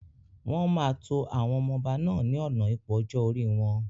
Wọn máa tó àwọn ọmọ ọba náà ni ọ̀nà ipò ọjọ́ orí wọn.